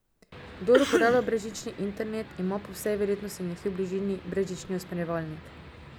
Kdor uporablja brezžični internet, ima po vsej verjetnosti nekje v bližini brezžični usmerjevalnik.